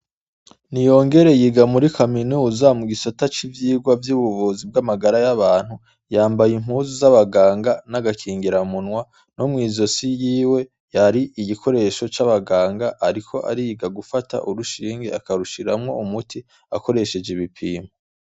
NIYONGERE yiga muri kaminuza mu gisata c'ivvigwa vyubuvuzi bwamagara yabantu yambaye impuzu zabaganga nagakingira munwa no mwizosi yiwe yari igikoresho c'abaganga ariko ariga gufata urushinge akarushiramwo akoresheje ibipimo.